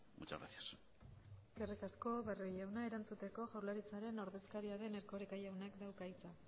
muchas gracias eskerrik asko barrio jauna erantzuteko jaurlaritzaren ordezkaria den erkoreka jaunak dauka hitza